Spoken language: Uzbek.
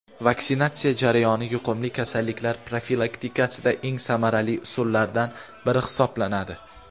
vaksinatsiya jarayoni yuqumli kasalliklar profilaktikasida eng samarali usullardan biri hisoblanadi.